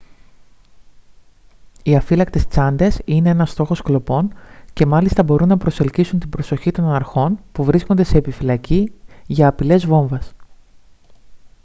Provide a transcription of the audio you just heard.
οι αφύλακτες τσάντες είναι ένας στόχος κλοπών και μάλιστα μπορούν να προσελκύσουν την προσοχή των αρχών που βρίσκονται σε επιφυλακή για απειλές βόμβας